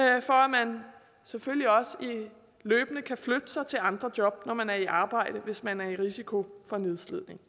man selvfølgelig også løbende kan flytte sig til andre job når man er i arbejde hvis man er i risiko for nedslidning